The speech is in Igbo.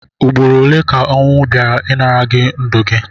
Ụgbọrọ ole ka onwu baịra ịnara gi ndu gi?